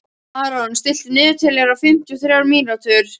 Aron, stilltu niðurteljara á fimmtíu og þrjár mínútur.